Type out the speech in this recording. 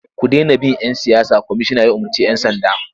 Ku dena bin ‘yan siyasa! Kwamishinan ya umarci 'yan sanda.